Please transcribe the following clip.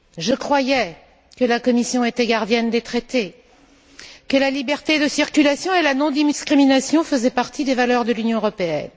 Je croyais que la Commission était gardienne des traités, que la libre circulation et la non discrimination faisaient partie des valeurs de l'Union européenne.